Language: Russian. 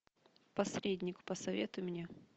посредник посоветуй мне